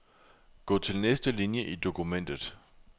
Gå til næste linie i dokumentet.